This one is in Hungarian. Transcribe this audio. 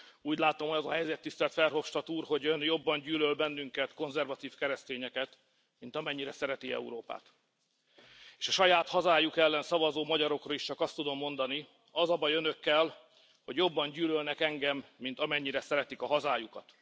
Úgy látom, hogy az a helyzet, tisztelt Verhofstadt úr, hogy Ön jobban gyűlöl bennünket, konzervatív keresztényeket, mint amennyire szereti Európát. S a saját hazájuk ellen szavazó magyarokra is csak azt tudom mondani az a baj Önökkel, hogy jobban gyűlölnek engem, mint amennyire szeretik a hazájukat.